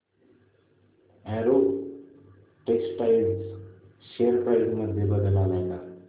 Arrow Textiles share price मध्ये बदल आलाय का